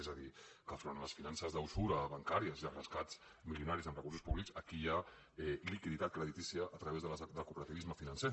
és a dir que davant de les finances d’usura bancàries i els rescats milionaris amb recursos públics aquí hi ha liquiditat creditícia a través del cooperativisme financer